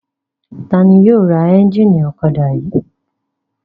Ta ni yóò ra ẹ́ńjínì ọ̀kadà yìí?